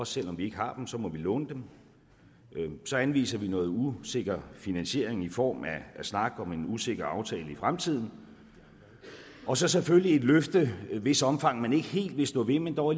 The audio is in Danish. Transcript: selv om vi ikke har dem så må vi låne dem så anviser vi noget usikker finansiering i form af snak om en usikker aftale i fremtiden og så selvfølgelig et løfte hvis omfang man ikke helt vil stå ved men dog